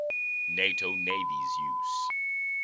nato navies use